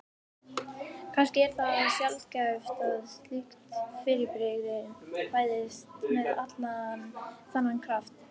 Immi ananas stendur upp og kemur til þeirra.